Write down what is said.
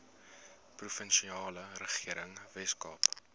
provinsiale regering weskaap